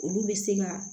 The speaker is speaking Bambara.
Olu bɛ se ka